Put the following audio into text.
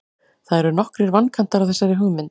Það eru nokkrir vankantar á þessari hugmynd.